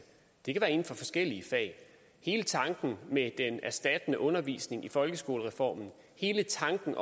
det kan være inden for forskellige fag hele tanken med den erstattende undervisning i folkeskolereformen hele tanken